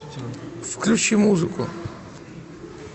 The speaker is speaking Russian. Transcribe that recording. включи музыку